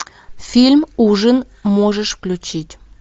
фильм ужин можешь включить